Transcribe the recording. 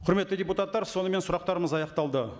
құрметті депутаттар сонымен сұрақтарымыз аяқталды